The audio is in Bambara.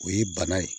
O ye bana ye